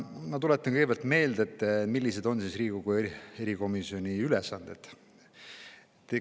Ma tuletan kõigepealt meelde, millised on Riigikogu erikomisjoni ülesanded.